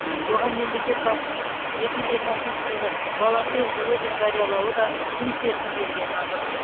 оған мемлекет басшысының екі мың жиырмасыншы жылды волонтер жылы деп жариялауы да тың серпін бергені анық